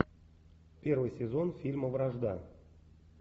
первый сезон фильма вражда